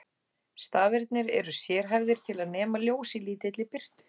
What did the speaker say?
Stafirnir eru sérhæfðir til að nema ljós í lítilli birtu.